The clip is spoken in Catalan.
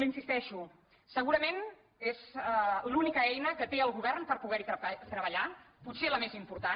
hi insisteixo segurament és l’única eina que té el go·vern per poder·hi treballar potser la més important